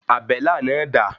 Àbélà náà dà?